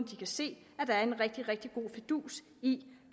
de kan se at der er en rigtig rigtig god fidus i